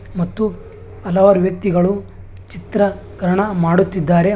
ಮತ್ತು ಹಲವಾರು ವ್ಯಕ್ತಿಗಳು ಚಿತ್ರ ಕರಣ ಮಾಡುತ್ತಿದ್ದಾರೆ ಮತ್ತು --